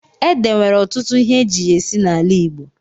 Ede nwere ọtụtụ ihe eji ya esi n'ala Igbo.